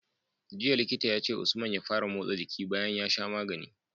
Jiya Likita yace usman ya fara motsa jiki bayan ya sha magani